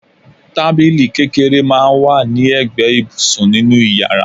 Tábìlì kékeré máa ń wà ní ẹgbẹ́ ibùsùn nínú yàrá